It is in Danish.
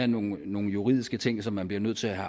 nogle nogle juridiske ting som man bliver nødt til at